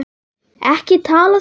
Ekki tala svona hátt.